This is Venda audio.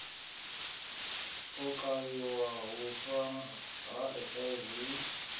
u kavhiwa huswa ha hiv